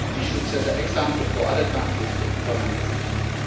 We should set an example for other countries to implement these measures.